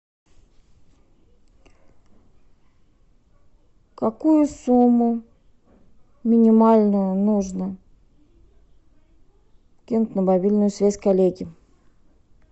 какую сумму минимальную нужно кинуть на мобильную связь коллеге